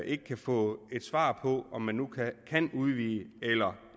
ikke kan få et svar på om man nu kan udvide eller